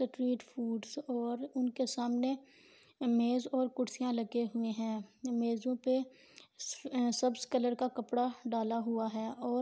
treat foods اور انکے سامنے میز اور کرسیا لگے ہوے ہے میزوں پے سبز کلر کا کپڑا ڈالا ہوا ہے اور